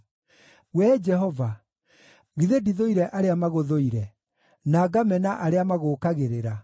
Wee Jehova, githĩ ndithũire arĩa magũthũire, na ngamena arĩa magũũkagĩrĩra?